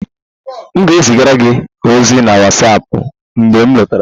M ga-ezigara gị ozi na WhatsApp, mgbe m lọtara